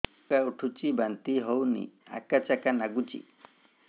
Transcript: ଉକା ଉଠୁଚି ବାନ୍ତି ହଉନି ଆକାଚାକା ନାଗୁଚି